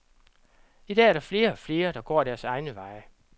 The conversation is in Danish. I dag er der flere og flere, der går deres egne veje.